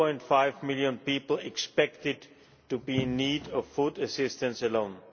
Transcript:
2.5 million people expected to be in need of food assistance alone.